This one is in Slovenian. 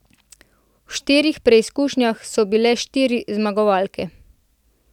V štirih preizkušnjah so bile štiri zmagovalke.